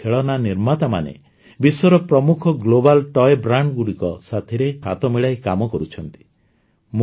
ଭାରତର ଖେଳନା ନିର୍ମାତାମାନେ ବିଶ୍ୱର ପ୍ରମୁଖ ଗ୍ଲୋବାଲ ତୋୟ Brandsଗୁଡ଼ିକ ସାଥୀରେ ହାତ ମିଳାଇ କାମ କରୁଛନ୍ତି